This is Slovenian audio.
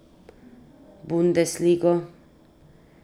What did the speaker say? Bundesligo.